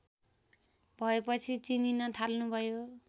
भएपछि चिनिन थाल्नुभयो